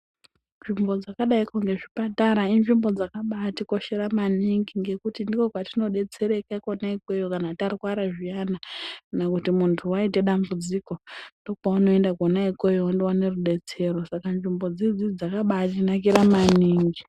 Nzvimbo dzakadaiko ngezvipatara inzvimbo dzakabatikoshera maningi ngekuti ndiko kwetinodetsereka iyoyo kama tarwara zviyana kana kuti kana muntu waite dambudziko ndopaunoenda kwona ikweyo wondowane rubatsiro. Saka nzvimbo dzoidzodzo dzakabanaka maningi.